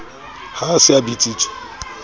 ha a se a bitsitswe